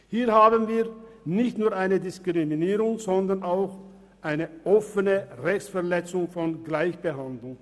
Hier haben wir nicht nur eine Diskriminierung, sondern auch eine offene Rechtverletzung des Gleichbehandlungsprinzips.